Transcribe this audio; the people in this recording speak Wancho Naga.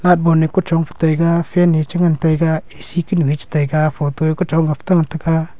laght bon kuchong fe taga fan chengan tega A_C kanu chetaga photo kuchong fe tega.